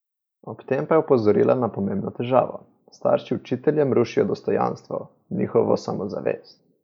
Ob tem pa je opozorila na pomembno težavo: "Starši učiteljem rušijo dostojanstvo, njihovo samozavest.